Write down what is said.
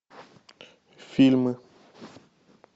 фильмы